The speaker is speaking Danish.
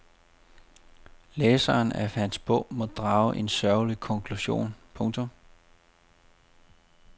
Læseren af hans bog må drage en sørgelig konklusion. punktum